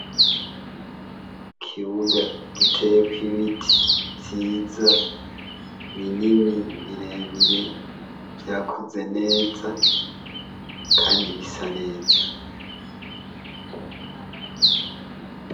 Ikubuga giteyeko ibiti vyiza binini bire bire vyakuze neza kandi bisa neza.